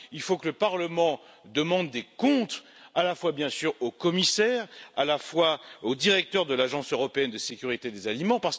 Il faut que le Parlement demande des comptes, à la fois, bien sûr, au commissaire et au directeur de l'Agence européenne de sécurité des aliments.